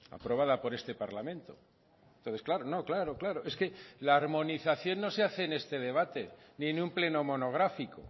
aprobada por este parlamento entonces claro no claro claro es que la armonización no se hace en este debate ni en un pleno monográfico